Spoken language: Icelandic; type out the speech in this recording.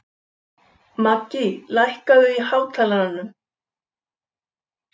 Maggý, lækkaðu í hátalaranum.